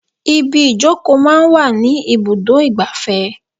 Ibi ìjókòó máa ń wà ní ibùdó igbàfẹ́.